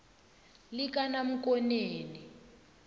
likanamkoneni